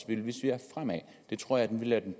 vi ser fremad det tror jeg vil være den